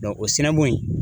o sina bon in